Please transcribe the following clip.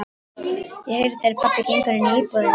Ég heyri þegar pabbi gengur inní íbúðina.